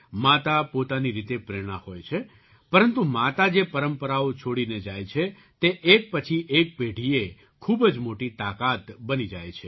માતા પોતાની રીતે પ્રેરણા હોય છે પરંતુ માતા જે પરંપરાઓ છોડીને જાય છે તે એક પછી એક પેઢીએ ખૂબ જ મોટી તાકાત બની જાય છે